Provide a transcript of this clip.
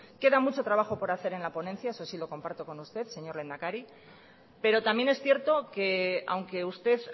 queda mucho trabajo por hacer en la ponencia eso sí lo comparto con usted señor lehendakari pero también es cierto que aunque usted